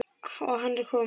Og hann er kominn.